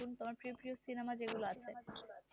প্রিয় প্রিয় cinema যে গুলা আছে